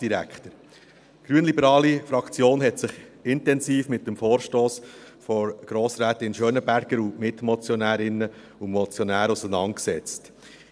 Die grünliberale Fraktion hat sich intensiv mit dem Vorstoss von Grossrätin Gabi Schönenberger und ihren Mitmotionärinnen und -motionären auseinandergesetzt.